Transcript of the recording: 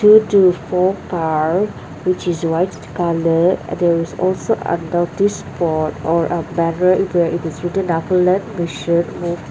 four car which is white colour there is also a notice board or a banner where it is written nagaland mission in--